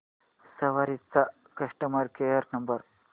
सवारी चा customer care number